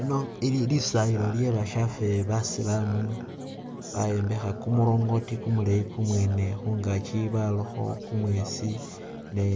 Ino ili lisayilo lye bashafe basilamu bayombekha kumulrongoti kumuleyi kumwene, khungaaki barakho kumwesi, ne